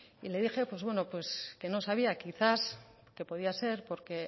y le dije pues bueno que no sabía quizás que podía ser porque